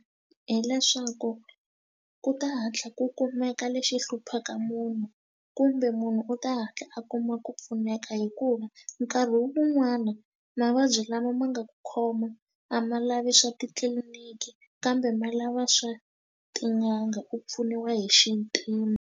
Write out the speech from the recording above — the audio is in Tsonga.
Hileswaku ku ta hatla ku kumeka lexi hluphaka munhu kumbe munhu u ta hatla a kuma ku pfuneka hikuva nkarhi wun'wani mavabyi lama ma nga ku khoma a ma lavi swa titliliniki kambe ma lava swa tin'anga u pfuniwa hi xintima.